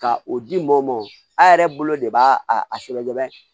Ka o di mɔ a yɛrɛ bolo de b'a a sɛbɛn dɔrɔn